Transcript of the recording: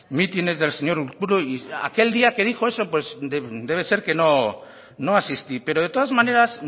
mítines del señor urkullu y aquel día que dijo eso pues debe ser que no asistí pero de todas maneras